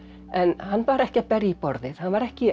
en hann var ekki að berja í borðið hann var ekki